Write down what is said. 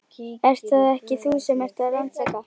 Ert það ekki þú sem ert að rannsaka.